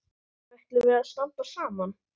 Ætlum við að standa saman?